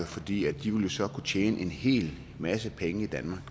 fordi de så ville kunne tjene en hele masse penge i danmark